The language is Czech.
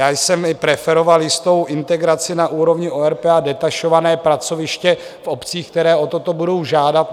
Já jsem preferoval jistou integraci na úrovni ORP a detašované pracoviště v obcích, které o toto budou žádat.